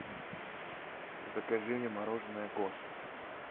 закажи мне мороженое гост